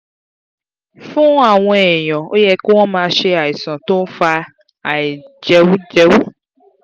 fún àwọn èèyàn ó yẹ kí wọ́n máa ṣe àìsàn tó ń fa àìjẹújẹú